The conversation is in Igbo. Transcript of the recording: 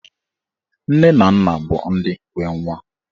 Nne na nna bụ ndị nwe nwa.